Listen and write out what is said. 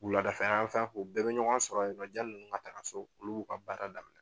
U wula lada fɛ anfan u bɛɛ bɛ ɲɔgɔn sɔrɔ yen nɔ jani ninnu ka taa so olu b'u ka baara daminɛ.